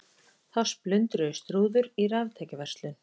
Þá splundruðust rúður í raftækjaverslun